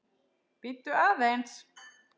Bíddu aðeins